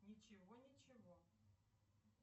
ничего ничего